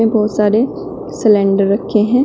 बहुत सारे सिलेंडर रखे हैं।